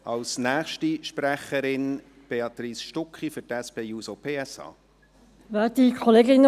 Als nächste Sprecherin: Béatrice Stucki für die SP-JUSO-PSA-Fraktion.